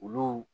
Olu